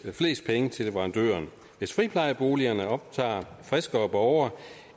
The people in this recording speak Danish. flest penge til leverandøren hvis friplejeboligerne optager friskere borgere